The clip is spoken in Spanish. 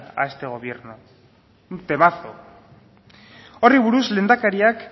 a este gobierno un temazo horri buruz lehendakariak